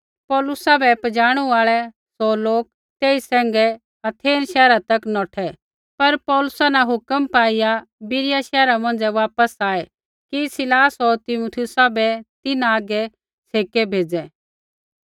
पौलुसा बै पजाणु आल़ै सौ लोक तेई सैंघै अथेन शैहरा तक नौठै पर पौलुसा न हुक्म पाईआ बिरिया शैहरा मौंझ़ै वापस आऐ कि सीलास होर तीमुथियुसा बै तिन्हां हागै छ़ेकै भेज़ै